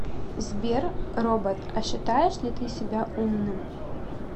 сбер робот а считаешь ли ты себя умным